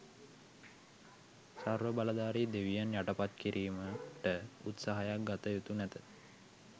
සර්වබලධාරී දෙවියන් යටපත් කිරීමට උත්සාහයක් ගත යුතු නැත.